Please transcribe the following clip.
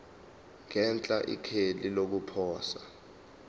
ngenhla ikheli lokuposa